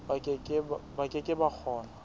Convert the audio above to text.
ba ke ke ba kgona